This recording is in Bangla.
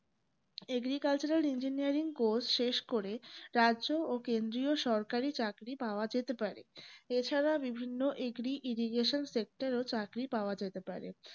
agriculturalengineeringcourse শেষ করে রাজ্য ও কেন্দ্রীয় সরকারি চাকরি পাওয়া যেতে পারে এছাড়া বিভিন্ন agri irrigation sector এ ও চাকরি পাওয়া যেতে পারে